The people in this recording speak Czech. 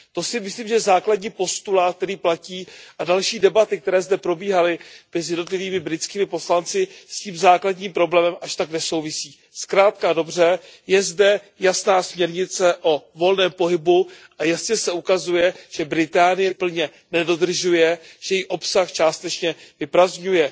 To si myslím, že je základní postulát, který platí, a další debaty, které zde probíhaly mezi jednotlivými britskými poslanci, s tím základním problémem až tak nesouvisí. Zkrátka a dobře, je zde jasná směrnice o volném pohybu a jasně se ukazuje, že Velká Británie tuto směrnici plně nedodržuje, že její obsah částečně vyprazdňuje.